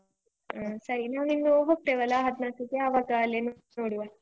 ಹ್ಮ ಸರಿ ನಾವ್ ಇನ್ನು ಹೋಗ್ತೇವಲ್ಲ ಹದ್ನಾಕಕ್ಕೆ ಆವಾಗ ಅಲ್ಲೆ ನೋಡುವ.